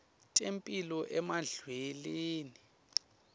temphilo emidlalweni